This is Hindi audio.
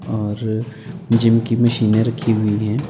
और जिम की मशीनें रखी हुई हैं।